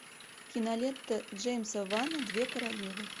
кинолента джеймса вана две королевы